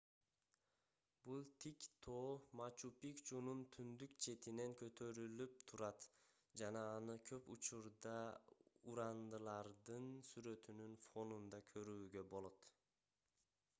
бул тик тоо мачу-пикчунун түндүк четинен көтөрүлүлүп турат жана аны көп учурдаа урандылардын сүрөтүнүн фонунда көрүүгө болот